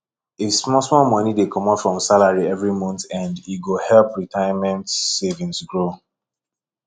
if small small money dey commot from salary every month end e go help retirement savings grow